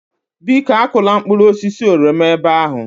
Biko akụla mkpụrụ oroma ebe ahụ